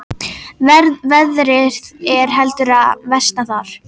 Veðrið er heldur að versna þar